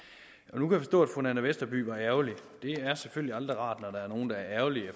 på at fru nanna westerby var ærgerlig det er selvfølgelig aldrig rart når nogen er ærgerlig